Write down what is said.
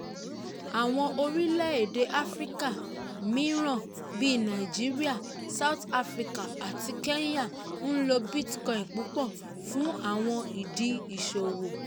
áwọn orilẹ-ède áfíríkà mìíràn bí nàìjíríà south africa àti kenya n lo bitcoin púpọ fún àwọn ìdí ìṣòwò.